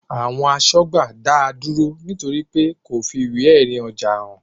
Àwọn asọ́gbà dáa dúró nítorí pé kò fi ìwé èrì ọjà hàn